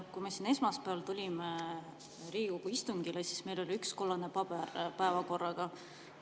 Kui me esmaspäeval tulime siia Riigikogu istungile, siis meil oli üks kollane paber päevakorraga.